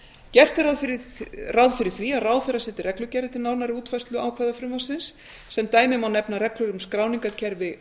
gert er ráð fyrir því að ráðherra setji reglugerðir til nánari útfærslu ákvæða frumvarpsins sem dæmi má nefna reglur m skráningarkerfi